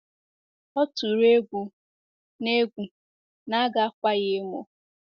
Ọ tụrụ egwu na egwu na a ga-akwa ya emo.